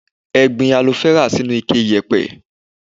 Ẹ gbin alofẹ́rà sínú ike ìyẹ̀pẹ̀.